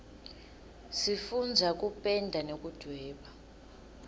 sifundza kupenda nekudvweba